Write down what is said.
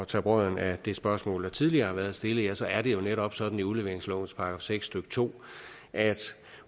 tage brodden af det spørgsmål der tidligere har været stillet så er det jo netop sådan i udleveringslovens § seks stykke to at